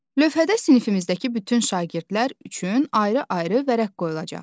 Lövhədə sinifimizdəki bütün şagirdlər üçün ayrı-ayrı vərəq qoyulacaq.